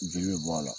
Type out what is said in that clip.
Jeli be bɔ a la